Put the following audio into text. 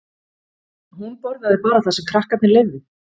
Hún borðaði bara það sem krakkarnir leifðu.